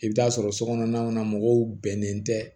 I bɛ taa sɔrɔ sokɔnɔna mɔgɔw bɛnnen tɛ